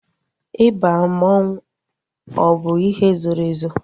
Ịba mmanwu ọ bụ ihe zoro ezo?